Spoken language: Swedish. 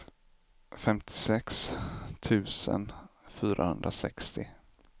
femtiosex tusen fyrahundrasextio